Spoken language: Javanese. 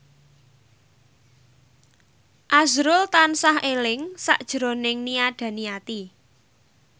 azrul tansah eling sakjroning Nia Daniati